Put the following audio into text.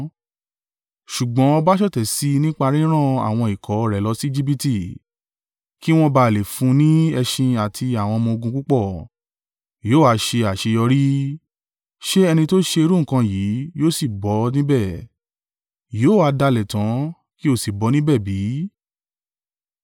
Ṣùgbọ́n ọba ṣọ̀tẹ̀ sí i nípa ríran àwọn ikọ̀ rẹ̀ lọ sí Ejibiti, kí wọn bá à lè fún un ni ẹṣin àti àwọn ọmọ-ogun púpọ̀. Yóò ha ṣe àṣeyọrí? Ṣe ẹni tó ṣe irú nǹkan yìí yóò sì bọ́ níbẹ̀? Yóò ha dalẹ̀ tán kí ó sì bọ́ níbẹ̀ bí?